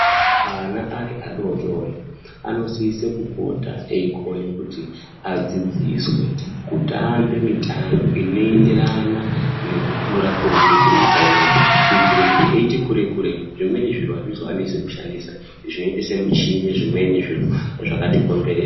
Ana ari adodori, anosise kupota eikone kuti adzidziswe kutambe mitambe inoenderana nekukura kuri kuite nyika ineyi ,kuitire kuti eiti kurei-kurei, zvimweni zviro azvizovanesi kushandisa, zvinoite semichi zvimweni zviro zvakatikomberedza.